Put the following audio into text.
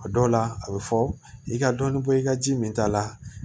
A dɔw la a bɛ fɔ i ka dɔnni bɔ i ka ji min ta la